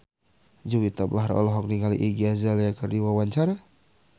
Juwita Bahar olohok ningali Iggy Azalea keur diwawancara